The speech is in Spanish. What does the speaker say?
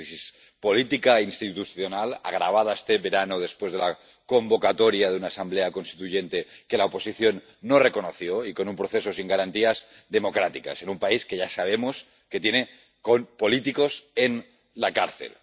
Una crisis política, institucional, agravada este verano después de la convocatoria de una Asamblea Constituyente, que la oposición no reconoció, y con un proceso sin garantías democráticas, en un país que ya sabemos que tiene políticos en la cárcel.